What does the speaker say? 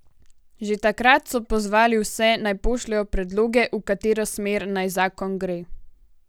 Že takrat so pozvali vse, naj pošljejo predloge, v katero smer naj zakon gre.